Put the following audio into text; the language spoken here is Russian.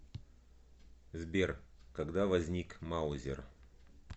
сбер когда возник маузер